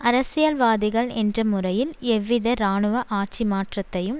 அரசியல் வாதிகள் என்ற முறையில் எவ்வித இராணுவ ஆட்சி மாற்றத்தையும்